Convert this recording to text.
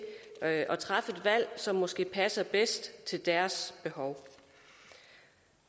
at at træffe det valg som måske passer bedst til deres behov